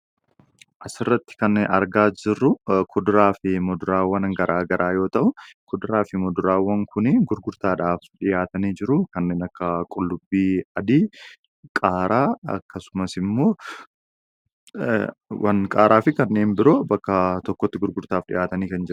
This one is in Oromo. Asirratti kan argaa jirru kudraa fi muduraawwan gara garaa yommuu ta'u, kuduraa fi muduraawan kunniin gurgurtaadhaaf dhiyaatanii jiru. Kanneen akka qullubbii adii, qaaraa fi kanneen biroo bakka tokkotti gurgurtaadhaaf dhiyaatanii kan jiranidha.